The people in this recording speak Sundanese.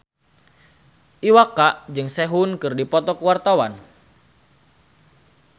Iwa K jeung Sehun keur dipoto ku wartawan